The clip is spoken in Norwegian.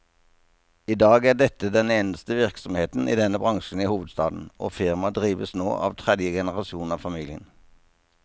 I dag er dette den eneste virksomheten i denne bransjen i hovedstaden, og firmaet drives nå av tredje generasjon av familien.